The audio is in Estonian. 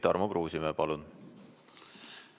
Tarmo Kruusimäe, palun!